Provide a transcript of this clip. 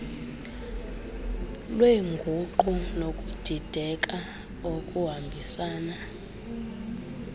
lweenguqu nokudideka okuhambisana